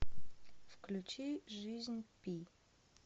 включи жизнь пи